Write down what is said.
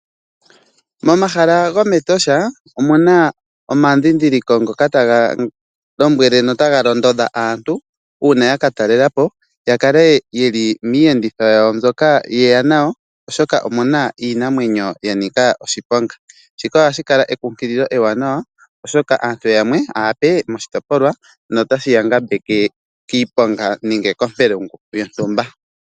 Momahala gomatosha omuna omandhindhiliko ngaaka taga lombwele nota ga londodha aantu uuna yaka talela po ya kale yeli miiyenditho yawo mbyoka ye ya nayo , oshoka omuna iinamwenyo ya nika oshiponga, shika ohashi kala ekunkililo eewanawa oshoka aantu yamwe aape moshitopolwa notashibya ngambeke kiiponga nenge kompelungu yontumba.